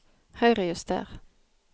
Høyrejuster